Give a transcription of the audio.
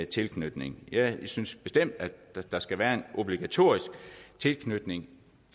tilknytning jeg synes bestemt at der skal være en obligatorisk tilknytning